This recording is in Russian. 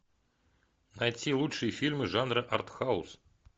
найти лучшие фильмы жанра артхаус